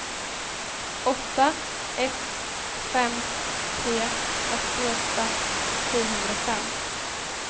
åtta ett fem tre åttioåtta sjuhundrafem